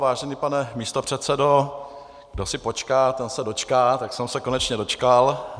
Vážený pane místopředsedo, kdo si počká, ten se dočká, tak jsem se konečně dočkal.